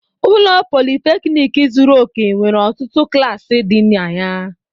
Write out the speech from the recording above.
Ụlọ Politékiniki zuru òke nwere ọtụtụ klasi di na ya